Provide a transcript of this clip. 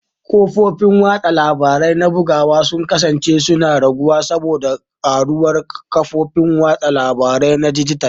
Kafofin watsa labarai na bugawa sun kasance suna raguwa saboda karuwar kafofin watsa labaru na dijital.